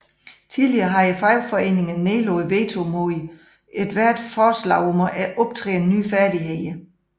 Tidligere havde fagforeninger nedlagt veto mod ethvert forslag om at optræne nye færdigheder